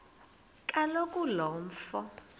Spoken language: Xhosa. kaloku lo mfo